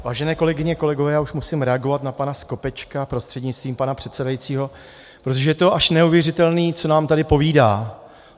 Vážené kolegyně, kolegové, já už musím reagovat na pana Skopečka prostřednictvím pana předsedajícího, protože to je až neuvěřitelné, co nám tady povídá.